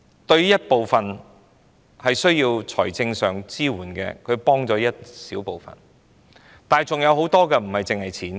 對於一部分需要財政支援的人，這確實幫了一小部分的忙，但還有很多人所需要的不單是金錢。